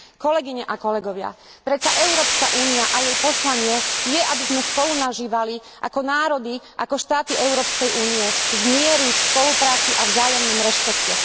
Kolegyne a kolegovia, predsa Európska únia a jej poslanie je, aby sme spolunažívali ako národy, ako štáty Európskej únie v mieri, v spolupráci a vo vzájomnom rešpekte.